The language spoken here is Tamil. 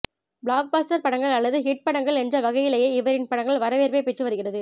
பிளாக்பஸ்டர் படங்கள் அல்லது ஹிட் படங்கள் என்ற வகையிலேயே இவரின் படங்கள் வரவேற்பை பெற்று வருகிறது